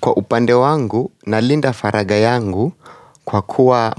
Kwa upande wangu na linda faraga yangu kwa kuwa